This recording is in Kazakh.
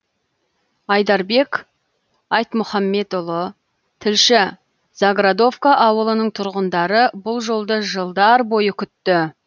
айдарбек айтмұхамбетұлы тілші заградовка ауылының тұрғындары бұл жолды жылдар бойы күтті